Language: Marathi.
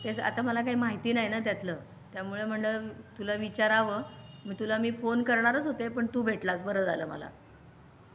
तेच आता मला काही माहिती नाही ना त्यातलं त्यामुळे म्हंटलं तुला विचाराव मा तुला मी फोन करणारच होते पण तू भेटलास बरं झालं.